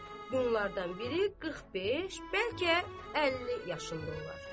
Bunlardan biri 45, bəlkə 50 yaşındadır.